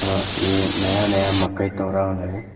और ये नया नया मकई तोरा वाला है।